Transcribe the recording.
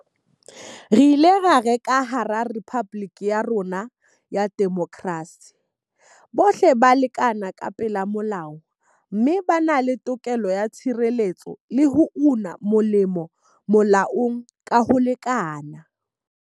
Re ile ra re ka hara rephaboliki ya rona ya demokrasi, bohle ba ya lekana ka pela molao mme ba na le tokelo ya tshireletso le ho una molemo molaong ka ho lekana.